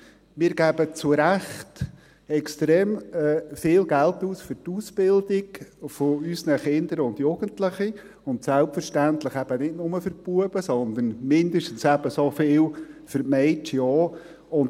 Wir geben zurecht extrem viel Geld aus für die Ausbildung unserer Kinder und Jugendlichen, und selbstverständlich eben nicht nur für die Knaben, sondern mindestens ebenso viel für die Mädchen.